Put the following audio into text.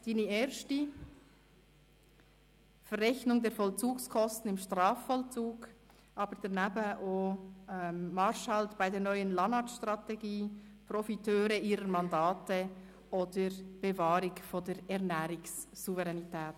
Seine erste war «Verrechnung der Vollzugskosten im Strafvollzug», daneben aber auch «Marschhalt bei der neuen LANAT-Strategie», «Profiteure ihrer Mandate» oder «Bewahrung der Ernährungssouveränität».